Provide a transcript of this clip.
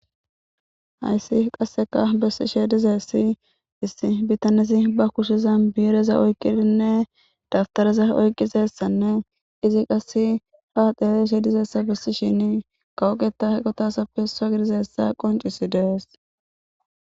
Hayssi qasseka bessi sheedizessi issi bitanezi ba kusheza biireza oykqidinne dabtareza oyqqizessanne izi qasse haaxelezsheedizessa bissi shini kawoqeta heqotasapfesa gidizessa qoncisi dees.